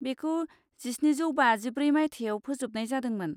बेखौ जिस्निजौ बाजिब्रै मायथाइयाव फोजोबनाय जादोंमोन।